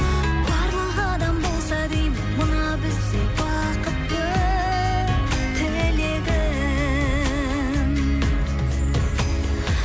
барлық адам болса деймін мына біздей бақытты тілегім